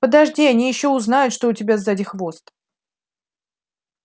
подожди они ещё узнают что у тебя сзади хвост